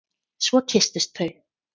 Svo kysstust þau.